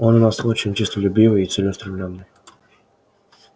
он у нас очень честолюбивый и целеустремлённый